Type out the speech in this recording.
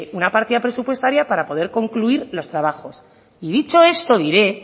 una partida presupuestaria para poder concluir los trabajos y dicho esto iré